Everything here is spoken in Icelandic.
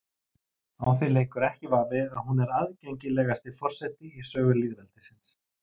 Á því leikur ekki vafi að hún er aðgengilegasti forseti í sögu lýðveldisins.